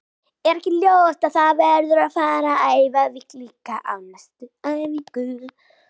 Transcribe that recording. Er ekki ljóst að það verður að fara að æfa víti líka á næstu æfingum?